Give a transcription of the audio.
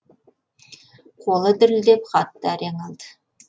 қолы дірілдеп хатты әрең алды